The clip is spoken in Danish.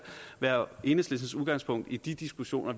være enhedslistens udgangspunkt i de diskussioner